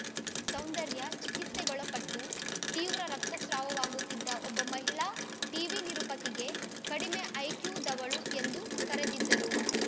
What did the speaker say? ಸೌಂದರ್ಯ ಚಿಕಿತ್ಸೆಗೊಳಪಟ್ಟು ತೀವ್ರ ರಕ್ತಸ್ರಾವವಾಗುತ್ತಿದ್ದ ಒಬ್ಬ ಮಹಿಳಾ ಟೀವಿ ನಿರೂಪಕಿಗೆ ಕಡಿಮೆ ಐಕ್ಯೂದವಳು ಎಂದು ಕರೆದಿದ್ದರು